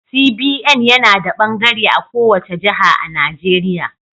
CBN yana da bangare a kowace jiha a Najeriya.